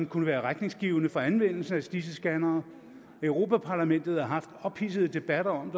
kunne være retningsgivende for anvendelsen af disse scannere europa parlamentet har haft ophidsede debatter om